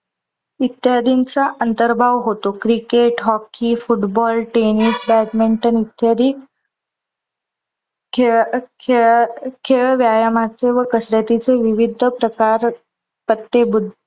इत्यादींचा अंतर्भाव होतो. Cricket, hockey, football, tennis, badminton इत्यादी खेळ खेल खेळ व्यायामाचे व कसरतीचे विविध प्रकार पट्टे बुद्ध